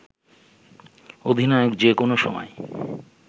অধিনায়ক যে কোনো সময়